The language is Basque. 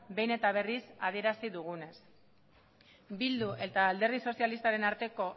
behin eta berriz adierazi dugunez bildu eta alderdi sozialistaren arteko